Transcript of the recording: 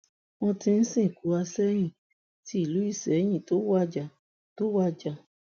wọn ti sìnkú àsẹyìn ti ìlú isẹyìn tó wájà tó wájà